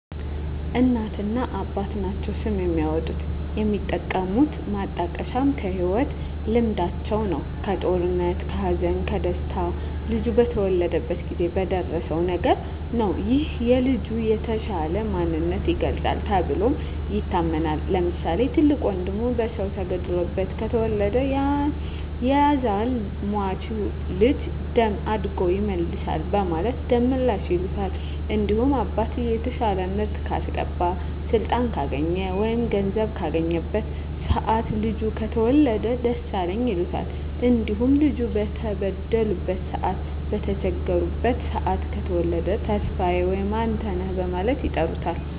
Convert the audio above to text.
እናትና አባት ናቸዉ ስም የሚያወጡት። የሚጠቀሙት ማጣቀሻም ከህይወት ልምዳቸዉ ነዉ(ከጦርነት ከሀዘን ከደስታ ልጁ በተወለደበት ጊዜ በደረሰዉ ነገር) ነዉ ይህም የልጁን የተሻለ ማንነት ይገልፃል ተብሎም ይታመናል። ለምሳሌ፦ ትልቅ ወንድሙ በሰዉ ተገሎበት ከተወለደ ያዛን ሟች ልጅ ደም አድጎ ይመልሳል በማለት ደመላሽ ይሉታል። እንዲሁም አባትየዉ የተሻለ ምርት ካስገባ ስልጣን ካገኘ ወይም ገንዘብ ካገኘበት ሰአት ልጁ ከተወለደ ደሳለኝ ይሉታል። እንዲሁም ልጁ በተበደሉበት ሰአት በተቸገሩበት ሰአት ከተወለደ ተስፋየ ወይም አንተነህ በማለት ይጠሩታል።